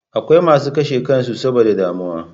Akwai masu karshe kansu saboda damuwa